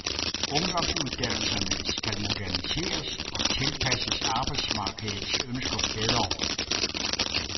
Ungdomsuddannelserne skal moderniseres og tilpasses arbejdsmarkedets ønsker bedre.